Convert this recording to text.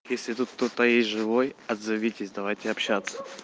если тут кто-то есть живой отзовитесь давайте общаться